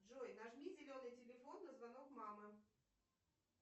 джой нажми зеленый телефон на звонок мамы